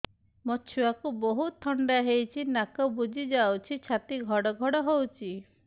ମୋ ଛୁଆକୁ ବହୁତ ଥଣ୍ଡା ହେଇଚି ନାକ ବୁଜି ଯାଉଛି ଛାତି ଘଡ ଘଡ ହଉଚି